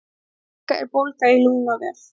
lungnabólga er bólga í lungnavef